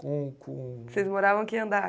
Vocês moravam aqui em andar?